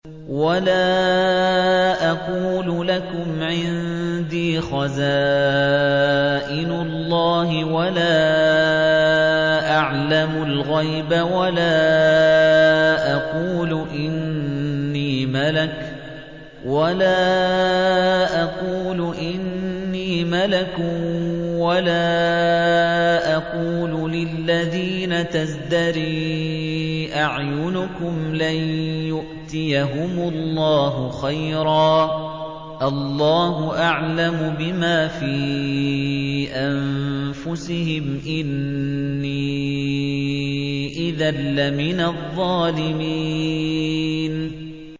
وَلَا أَقُولُ لَكُمْ عِندِي خَزَائِنُ اللَّهِ وَلَا أَعْلَمُ الْغَيْبَ وَلَا أَقُولُ إِنِّي مَلَكٌ وَلَا أَقُولُ لِلَّذِينَ تَزْدَرِي أَعْيُنُكُمْ لَن يُؤْتِيَهُمُ اللَّهُ خَيْرًا ۖ اللَّهُ أَعْلَمُ بِمَا فِي أَنفُسِهِمْ ۖ إِنِّي إِذًا لَّمِنَ الظَّالِمِينَ